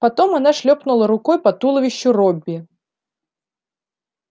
потом она шлёпнула рукой по туловищу робби